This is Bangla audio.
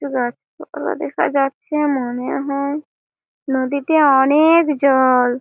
একটু গাছপালা দেখা যাচ্ছে মনে হয় নদীতে অনে-এক জল --